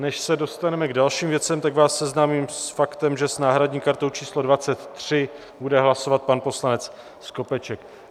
Než se dostaneme k dalším věcem, tak vás seznámím s faktem, že s náhradní kartou číslo 23 bude hlasovat pan poslanec Skopeček.